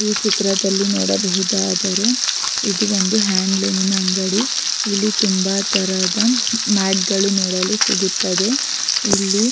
ಈ ಚಿತ್ರದಲ್ಲಿ ನೋಡಬಹುದಾದರೆ ಇದು ಒಂದು ಹಾಂಡ್ಲೋಮ್ನ ಅಂಗಡಿ ಇಲ್ಲಿ ತುಂಬ ತರಹದ ಮ್ಯಾಟ್ಗಳು ನೋಡಲು ಸಿಗುತ್ತದೆ ಇಲ್ಲಿ.